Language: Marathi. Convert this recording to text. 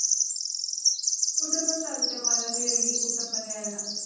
कुठे पण चालतं मला मी रेडी कुठं पण यायला.